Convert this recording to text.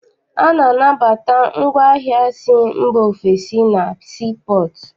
A na-anabata ngwaahịa si ofesi na sii pọọtụ.